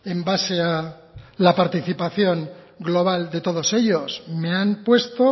en base a la participación global de todos ellos me han puesto